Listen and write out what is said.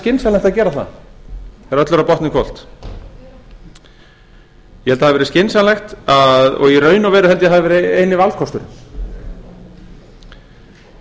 skynsamlegt að gera það þegar öllu er á botninn hvolft ég held að það hafi verið skynsamlegt og í raun og veru eini valkosturinn